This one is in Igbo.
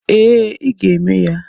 Ee, ị ga eme ya.